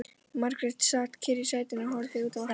Margrét sat kyrr í sætinu og horfði út á vatnið.